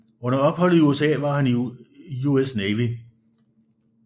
Under opholdet i USA var han i US Navy